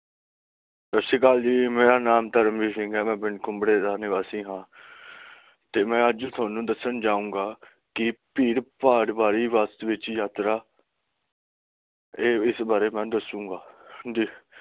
ਸਤਿ ਸ਼੍ਰੀ ਅਕਾਲ ਜੀ, ਮੇਰਾ ਨਾਮ ਦਾਰਾਮਵੀਰ ਸਿੰਘ ਹੈ ਮੈਂ ਪਿੰਡ ਕੁੰਬੜੇ ਦਾ ਨਿਵਾਸੀ ਹਾਂ ਤੇ ਮੈਂ ਅੱਜ ਥੋਨੂੰ ਦੱਸਣ ਜਾਉਂਗਾ ਕੀ ਭੀੜ ਭਾੜ ਵਾਲੀ ਬੱਸ ਚ ਵਿਚ ਯਾਤਰਾ ਤੇ ਇਸ ਬਾਰੇ ਮੈਂ ਦਸੂੰਗਾ ਜੀ